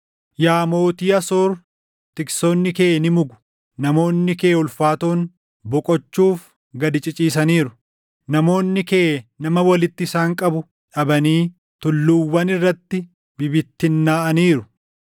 Yaa mootii Asoor tiksoonni kee ni mugu; namoonni kee ulfaatoon boqochuuf gad ciciisaniiru. Namoonni kee nama walitti isaan qabu dhabanii tulluuwwan irratti bibittinnaaʼaniiru.